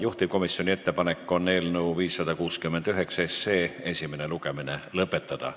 Juhtivkomisjoni ettepanek on eelnõu 569 esimene lugemine lõpetada.